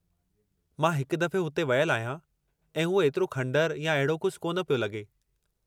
मां हिक दफ़े हुते वियलु आहियां, ऐं उहो एतिरो खंडर या अहिड़ो कुझु कोन पिए लॻो।